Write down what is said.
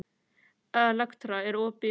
Elektra, er opið í Krónunni?